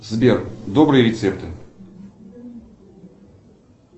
сбер добрые рецепты